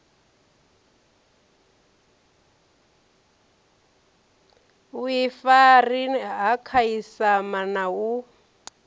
vhuifari ha khasiama na u